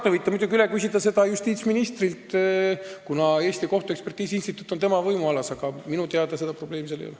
Te võite muidugi seda üle küsida justiitsministrilt, kuna Eesti Kohtuekspertiisi Instituut on tema võimualas, aga minu teada seda probleemi seal ei ole.